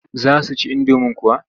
Za su ci indomin kuwa?